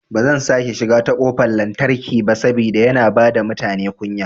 Bazan sake shiga ta kofar lantarki ba saboda yana bada mutane kunya